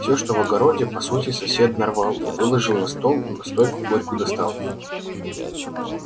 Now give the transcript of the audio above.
всё что в огороде по сути сосед нарвал выложил на стол настойку горькую достал